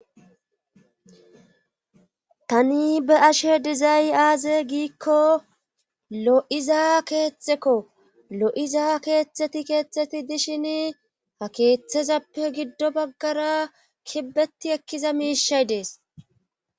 Tani be ashe dizay aaze giikko lo7iza keeththekko lo7iza keeththeti keettheti dishin ha keeththezappe giddo baggara kibbeti ekkiza miishay dees